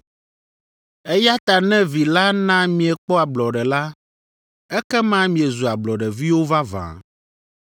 Eya ta ne Vi la na miekpɔ ablɔɖe la, ekema miezu ablɔɖeviwo vavã.